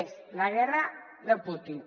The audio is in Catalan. és la guerra de putin